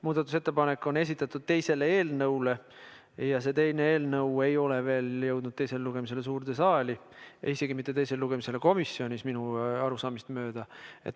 Muudatusettepanek on esitatud teise eelnõu kohta, aga see teine eelnõu ei ole veel jõudnud suurde saali teisele lugemisele ja isegi mitte komisjonis teisele lugemisele, minu arusaamist mööda.